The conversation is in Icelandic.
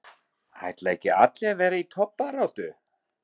Ætla ekki allir að vera í toppbaráttu?